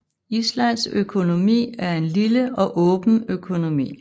Islands økonomi er en lille og åben økonomi